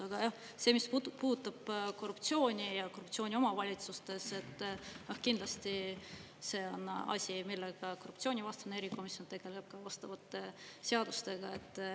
Aga jah, see, mis puutub korruptsiooni ja korruptsiooni omavalitsustes, kindlasti see on asi, millega korruptsioonivastane erikomisjon tegeleb ka vastavate seadustega.